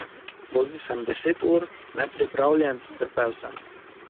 Vozil sem deset ur, nepripravljen, trpel sem.